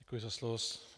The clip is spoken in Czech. Děkuji za slovo.